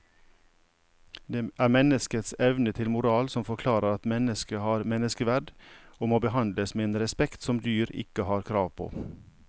Det er menneskets evne til moral som forklarer at mennesket har menneskeverd og må behandles med en respekt som dyr ikke har krav på.